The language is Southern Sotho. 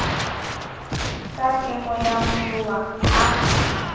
ka kemo ya moloa ha